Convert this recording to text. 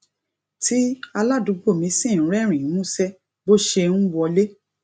tí aládùúgbò mi sì ń rérìnín músé bó ṣe ń wọlé